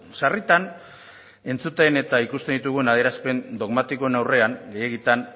sarritan entzuten eta ikusten ditugun adierazpen dogmatikoen aurrean gehiegitan